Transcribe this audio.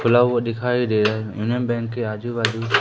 खुला हुआ दिखाई दे रहा है यूनियन बैंक के आजू बाजू--